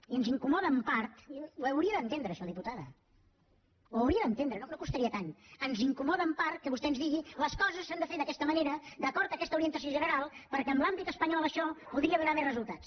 i ens incomoda en part ho hauria d’entendre això diputada ho hauria d’entendre no costaria tant que vostè ens digui les coses s’han de fer d’aquesta manera d’acord amb aquesta orientació general perquè en l’àmbit espanyol això podria donar més resultats